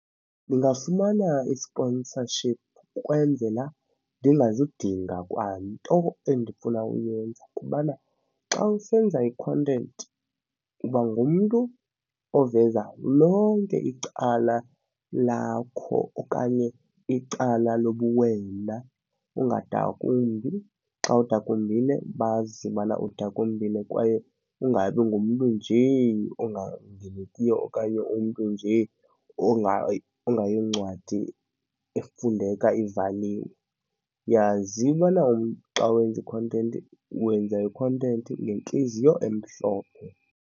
Ndingafumana i-sponsorship ukwenzela ndingazidinga kwanto endifuna uyenza kubana xa usenza i-content uba ngumntu oveza lonke icala lakho okanye icala lobuwena ungadakumbi. Xa udakumbile bazi bana udakumbile kwaye ungabi ngumntu nje ongaveliyo okanye umntu nje ongayoncwadi efundeka ivaliwe. Yazi ubana umntu xa wenze i-content wenza i-content ngentliziyo emhlophe.